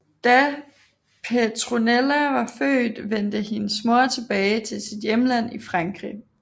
Da Petronella var født vendte hendes mor tilbage til sit hjemland i Frankrig